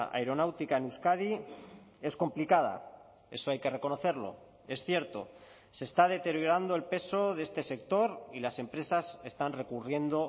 aeronáutica en euskadi es complicada eso hay que reconocerlo es cierto se está deteriorando el peso de este sector y las empresas están recurriendo